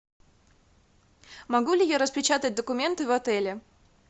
могу ли я распечатать документы в отеле